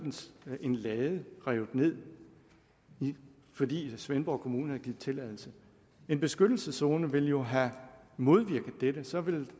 en lade revet ned fordi svendborg kommune havde givet tilladelse en beskyttelseszone ville jo have modvirket dette så ville